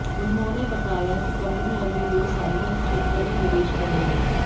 उन्होंने बताया कि कंपनी अगले दो साल में इस क्षेत्र में निवेश करेगी